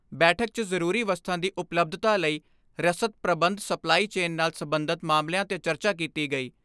ਬੈਠਕ 'ਚ ਜ਼ਰੂਰੀ ਵਸਤਾ ਦੀ ਉਪਲੱਬਧਤਾ ਲਈ ਰਸਦ ਪ੍ਰਬੰਧ ਸਪਲਾਈ ਚੇਨ ਨਾਲ ਸਬੰਧਤ ਮਾਮਲਿਆਂ 'ਤੇ ਚਰਚਾ ਕੀਤੀ ਗਈ।